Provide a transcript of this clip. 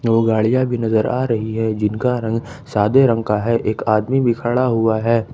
दो गाड़ियां भी नजर आ रही है जिनका रंग सादे रंग का है एक आदमी भी खड़ा हुआ है।